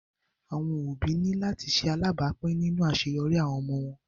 Awọn obi ni lati ṣe alabapin ninu aṣeyọri awọn ọmọ wọn